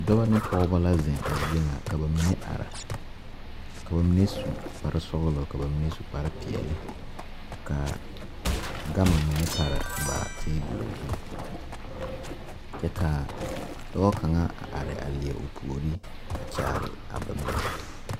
Dɔbɔ ne pɔgebɔ la zeŋ a zie ŋa ka ba mine are ka ba mine su kpare sɔglɔ ka ba mine su kpare peɛle ka gama mine pare ba tebul zu kyɛ ka dɔɔ kaŋa a are a leɛ o puori a kyaare a ba mine.